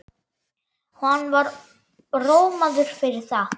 Hann var rómaður fyrir það.